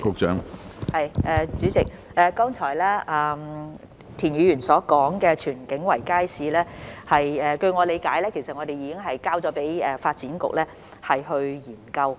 主席，剛才田議員提及的荃景圍街市，據我理解已經交給發展局研究。